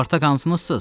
Spartak hansınızsız?